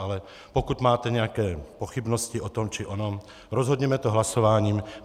Ale pokud máte nějaké pochybnosti o tom či onom, rozhodněme to hlasováním.